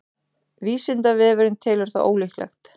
vísindavefurinn telur það ólíklegt